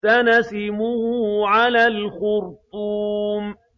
سَنَسِمُهُ عَلَى الْخُرْطُومِ